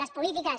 les polítiques